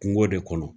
Kungo de kɔnɔ